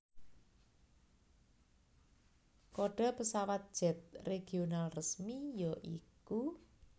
Kode pesawat Jet Regional resmi ya iku